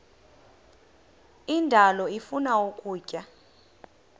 indalo ifuna ukutya